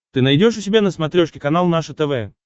ты найдешь у себя на смотрешке канал наше тв